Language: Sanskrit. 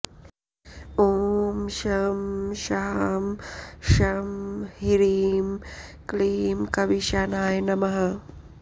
ॐ शं शां षं ह्रीं क्लीं कवीशानाय नमः